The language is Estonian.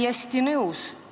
Täiesti nõus.